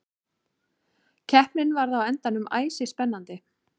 Keppnin varð á endanum æsispennandi.